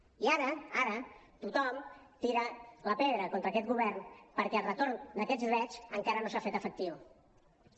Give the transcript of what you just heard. i ara ara tothom tira la pedra contra aquest govern perquè el retorn d’aquests drets encara no s’han fet efectius